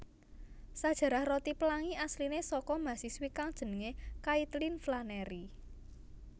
Sajarah roti pelangi asline saka mahasiswi kang jenenge Kaitlin Flanerry